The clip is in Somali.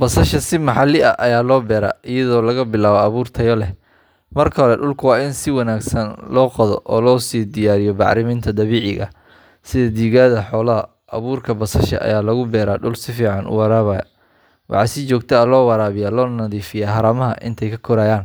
Basasha si maxalli ah ayaa loo beeraa iyadoo laga bilaabo abuur tayo leh. Marka hore, dhulku waa in si wanaagsan loo qodo oo loo sii diyaariyo bacriminta dabiiciga ah sida digada xoolaha. Abuurka basasha ayaa lagu beeraa dhul si fiican u waraabaya. Waxaa si joogto ah loo waraabiyaa loona nadiifiyaa haramaha inta ay korayaan.